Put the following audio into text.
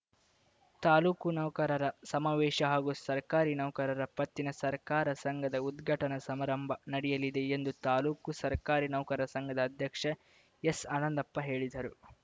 ತಾಲೂಕು ನೌಕರರ ಸಮಾವೇಶ ಹಾಗೂ ಸರಕಾರಿ ನೌಕರರ ಪತ್ತಿನ ಸಹಕಾರ ಸಂಘದ ಉದ್ಘಾಟನಾ ಸಮಾರಂಭ ನಡೆಯಲಿದೆ ಎಂದು ತಾಲೂಕು ಸರಕಾರಿ ನೌಕರ ಸಂಘದ ಅಧ್ಯಕ್ಷ ಎಸ್‌ ಆನಂದಪ್ಪ ಹೇಳಿದರು